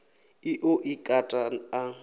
ḽi ḓo i kata a